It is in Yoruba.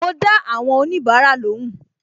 Ma dá àwọn onibara lóhùn